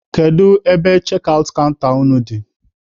Kedu ebe chekị aụt kanta unu dị?